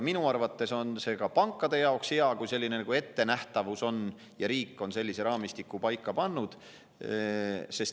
Minu arvates on ka pankade jaoks hea, kui on selline ettenähtavus ja riik on sellise raamistiku paika pannud.